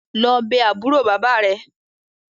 Lọ bé àbúrò bàbá rẹ̀!